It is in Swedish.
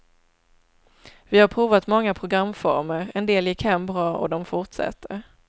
Vi har provat många programformer, en del gick hem bra och de fortsätter.